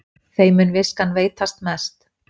Þeim mun viskan veitast mest